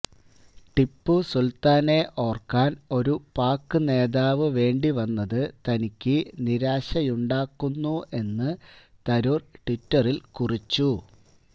ടിപ്പു സുല്ത്താനെ ഓര്ക്കാന് ഒരു പാക് നേതാവ് വേണ്ടിവന്നത് തനിക്കു നിരാശയുണ്ടാക്കുന്നു എന്ന് തരൂര് ട്വിറ്ററില് കുറിച്ചു